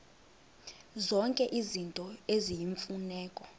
zonke izinto eziyimfuneko